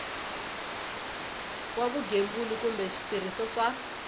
wa vugembuli kumbe switirhiso swa